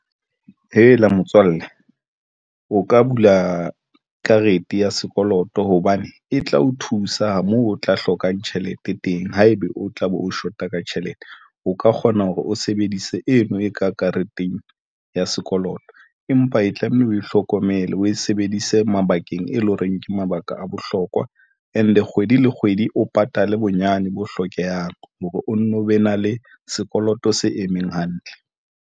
Hela motswalle o ka bula karete ya sekoloto hobane e tla o thusa moo o tla hlokang tjhelete teng haebe o tlabe o shota ka tjhelete. O ka kgona hore o sebedise eno e ka kareteng ya sekoloto empa e tlamehile o hlokomele o e sebedise mabakeng e leng hore, ke mabaka a bohlokwa and kgwedi le kgwedi, o patale bonyane bo hlokehang hore o nno be na le sekoloto se emeng hantle.